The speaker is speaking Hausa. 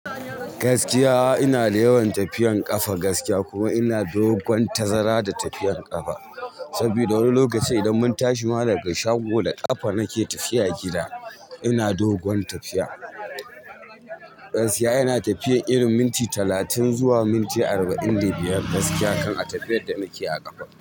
Gaskiya ina da yawan tafiyan ƙafa gaskiya kuma ina dogon tazara da tafiyan ƙafa. Sabida wani lokaci idan mun tashi ma daga shago da ƙafa nake tafiya gida, ina dogon tafiya. Gaskiya ina tafiya irin minti talatin zuwa minti arba'in da biyar gaskiya kan a tafiyar da nake a ƙafa.